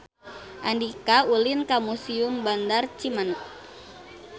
Andika ulin ka Museum Bandar Cimanuk